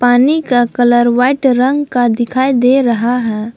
पानी का colour white रंग का दिखाई दे रहा है।